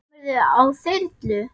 Kemurðu á þyrlu?